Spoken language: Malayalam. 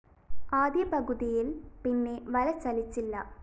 ആദ്യ പകുതിയില്‍ പിന്നെ വല ചലിച്ചില്ല